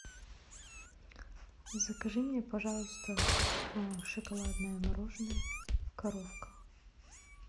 закажи мне пожалуйста шоколадное мороженое коровка